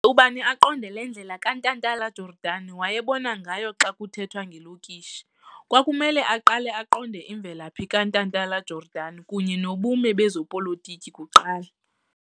ubani aqonde le ndlela lo kaNtantala-Jordan wayebona ngayo xa kuthetwa ngelokishi, kwakumele aqale aqonde imvelaphi kaNtantala-Jordan kunye nobume bezobupolitiko kuqala.